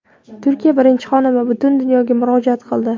Turkiya birinchi xonimi butun dunyoga murojaat qildi.